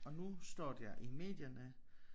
Og nu står der i medierne